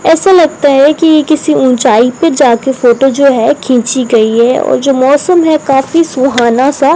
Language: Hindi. ऐसा लगता है कि ये किसी ऊंचाई पे जाके फोटो जो है खींची गई है और जो मौसम है काफी सुहाना सा --